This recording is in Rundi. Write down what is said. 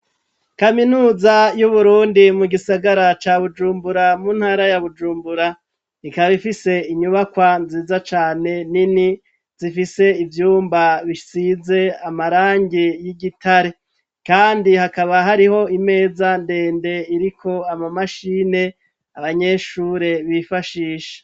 Kaminuza y'Uburundi mu gisagara ca Bujumbura mu ntara ya Bujumbura. Ikaba ifise inyubakwa nziza cane nini zifise ivyumba bisize amarangi y'igitare, kandi hakaba hariho imeza ndende iriko ama mashini abanyeshure bifashisha.